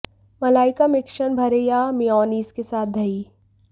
मलाई का मिश्रण भरें या मेयोनेज़ के साथ दही